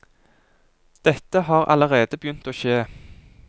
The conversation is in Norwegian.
Dette har allerede begynt å skje.